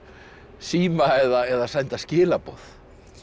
síma eða senda skilaboð